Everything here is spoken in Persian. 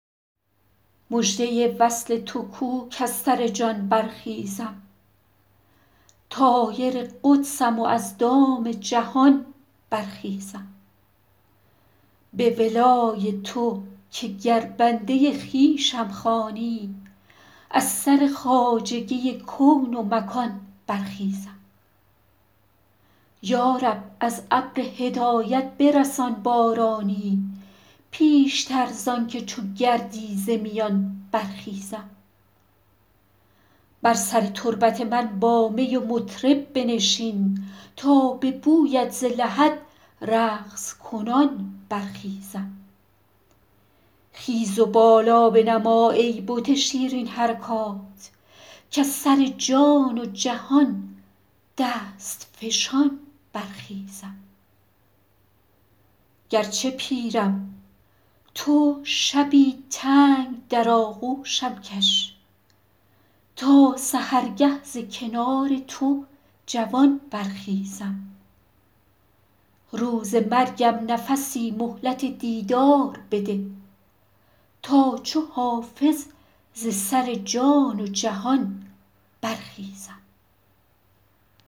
مژده وصل تو کو کز سر جان برخیزم طایر قدسم و از دام جهان برخیزم به ولای تو که گر بنده خویشم خوانی از سر خواجگی کون و مکان برخیزم یا رب از ابر هدایت برسان بارانی پیشتر زان که چو گردی ز میان برخیزم بر سر تربت من با می و مطرب بنشین تا به بویت ز لحد رقص کنان برخیزم خیز و بالا بنما ای بت شیرین حرکات کز سر جان و جهان دست فشان برخیزم گرچه پیرم تو شبی تنگ در آغوشم کش تا سحرگه ز کنار تو جوان برخیزم روز مرگم نفسی مهلت دیدار بده تا چو حافظ ز سر جان و جهان برخیزم